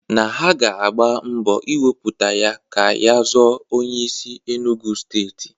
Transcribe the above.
Na ha ga-agba mbọ iwepụta ya ka ya zọọ onyeisi Enugwu steeti.